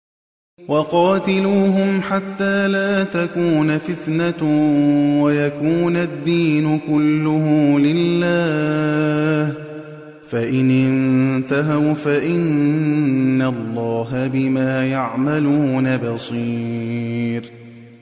وَقَاتِلُوهُمْ حَتَّىٰ لَا تَكُونَ فِتْنَةٌ وَيَكُونَ الدِّينُ كُلُّهُ لِلَّهِ ۚ فَإِنِ انتَهَوْا فَإِنَّ اللَّهَ بِمَا يَعْمَلُونَ بَصِيرٌ